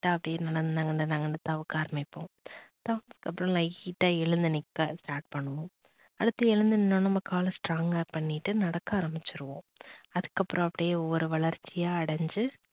அப்படியே நகந்து நகந்து நகந்து தவக்க ஆரம்பிப்போம் அப்புறம் light ட்டா எழுந்து நிக்க ஸ்டார்ட் பண்ணுவோம், அடுத்து எழுந்து நின்னோடனே நம்ம கால strong ங்கா பண்ணிட்டு நடக்க ஆரம்பிச்சிடுவோம் அதுக்கப்புறம் அப்படியே ஒவ்வொரு வளர்ச்சியா அடஞ்சி